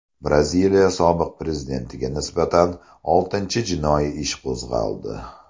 Braziliya sobiq prezidentiga nisbatan oltinchi jinoiy ish qo‘zg‘aldi.